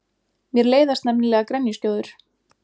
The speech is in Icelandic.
Mér leiðast nefnilega grenjuskjóður.